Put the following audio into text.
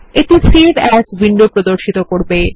এটি save as window প্রর্দশিত করবে